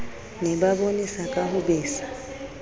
ne ba bonesaka ho besa